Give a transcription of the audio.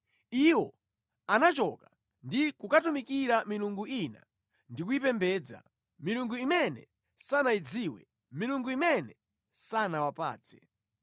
Iwo anachoka ndi kukatumikira milungu ina ndi kuyipembedza, milungu imene sanayidziwe, milungu imene sanawapatse.